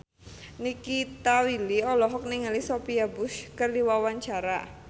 Nikita Willy olohok ningali Sophia Bush keur diwawancara